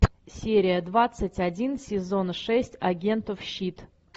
серия двадцать один сезон шесть агентов щит